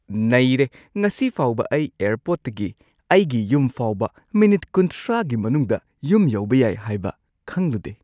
ꯅꯩꯔꯦ! ꯉꯁꯤ ꯐꯥꯎꯕ ꯑꯩ ꯑꯦꯌꯔꯄꯣꯔꯠꯇꯒꯤ ꯑꯩꯒꯤ ꯌꯨꯝ ꯐꯥꯎꯕ ꯃꯤꯅꯤꯠ ꯳꯰ꯒꯤ ꯃꯅꯨꯡꯗ ꯌꯨꯝ ꯌꯧꯕ ꯌꯥꯏ ꯍꯥꯏꯕ ꯈꯪꯂꯨꯗꯦ꯫